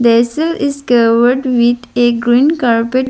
is covered with a green carpet.